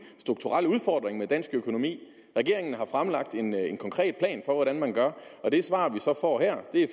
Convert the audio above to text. strukturel udfordring med dansk økonomi regeringen har fremlagt en en konkret plan for hvordan man gør og det svar vi så får her er